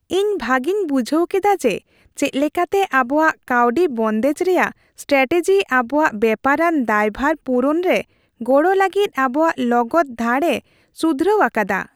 ᱤᱧ ᱵᱷᱟᱜᱤᱧ ᱵᱩᱡᱷᱟᱹᱣ ᱠᱮᱫᱟ ᱡᱮ ᱪᱮᱫ ᱞᱮᱠᱟᱛᱮ ᱟᱵᱚᱣᱟᱜ ᱠᱟᱹᱣᱰᱤ ᱵᱚᱱᱫᱮᱡ ᱨᱮᱭᱟᱜ ᱥᱴᱨᱟᱴᱮᱡᱤ ᱟᱵᱚᱣᱟᱜ ᱵᱮᱯᱟᱨᱟᱱ ᱫᱟᱭᱵᱷᱟᱨ ᱯᱩᱨᱩᱱ ᱨᱮ ᱜᱚᱲᱚ ᱞᱟᱹᱜᱤᱫ ᱟᱵᱚᱣᱟᱜ ᱞᱚᱜᱚᱫ ᱫᱷᱟᱲᱼᱮ ᱥᱩᱫᱷᱨᱟᱹᱣ ᱟᱠᱟᱫᱟ ᱾